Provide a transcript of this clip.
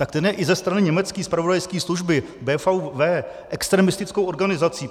Tak ten je i ze strany německé zpravodajské služby BfV extremistickou organizací.